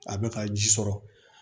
A bɛ ka ji sɔrɔ